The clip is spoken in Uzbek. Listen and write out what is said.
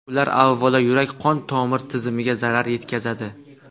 Ular, avvalo, yurak-qon tomir tizimiga zarar yetkazadi.